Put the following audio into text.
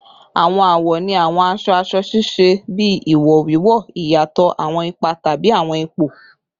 Awọn awọ ni awọn aṣọ-aṣọ ṣiṣẹ bi iwo wiwo, iyatọ awọn ipa tabi awọn ipo